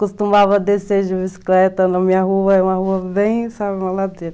Costumava descer de bicicleta na minha rua, é uma rua bem, sabe, uma ladeira.